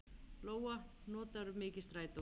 Lóa: Notarðu mikið strætó?